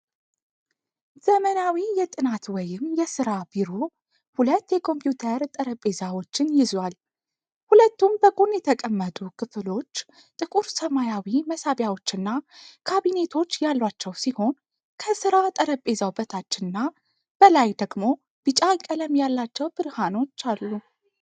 ዘመናዊ የጥናት ወይም የሥራ ቢሮ ሁለት የኮምፒዩተር ጠረጴዛዎችን ይዟል። ሁለቱም በጎን የተቀመጡ ክፍሎች ጥቁር ሰማያዊ መሳቢያዎችና ካቢኔቶች ያሏቸው ሲሆን፣ ከሥራ ጠረጴዛው በታችና በላይ ደግሞ ቢጫ ቀለም ያላቸው ብርሃኖች አሉ።